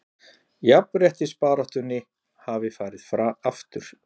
Jafnréttisbaráttunni hafi farið aftur